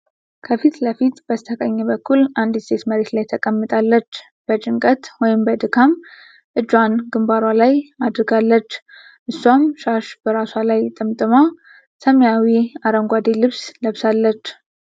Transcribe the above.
ከፊት ለፊት በስተቀኝ በኩል አንዲት ሴት መሬት ላይ ተቀምጣለች፤ በጭንቀት ወይም በድካም እጇን ግንባሯ ላይ አድርጋለች። እሷም ሻሽ በራሷ ላይ ጠምጥማ ሰማያዊ አረንጓዴ ልብስ ለብሳለች።